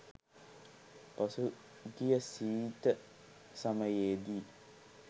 පසු ගිය සීත සමයේදී